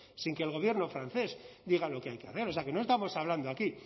sin que el gobierno francés diga lo que hay que hacer o sea que no estamos hablando aquí